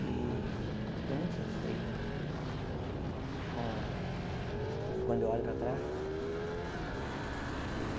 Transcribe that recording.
E estou muito satisfeita com... quando eu olho para trás.